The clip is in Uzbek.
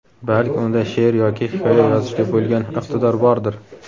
Balki unda she’r yoki hikoya yozishga bo‘lgan iqtidor bordir?.